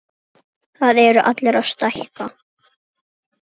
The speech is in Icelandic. Það eru allir að stækka.